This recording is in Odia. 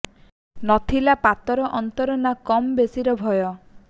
ନ ଥିଲା ପାତର ଅନ୍ତର ନା କମ ବେଶୀର ଭୟ